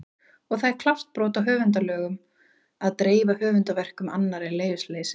Og það er klárt brot á höfundalögum að dreifa höfundarverkum annarra í leyfisleysi!